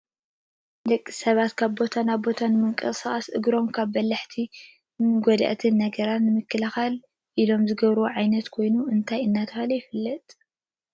ንደቂ ሰባት ካብ ቦታ ናብ ቦታ ንምቅስቃስን እግሮም ካብ በላሕቲ ጎዳእቲ ነገራት ንምክልካል ኢሎም ዝገብርዎ ዓይነት ኮይኑ እንታይ እናተባህለ ይፍለጥ?